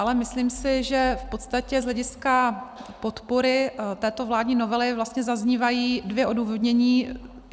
Ale myslím si, že v podstatě z hlediska podpory této vládní novely vlastně zaznívají dvě odůvodnění.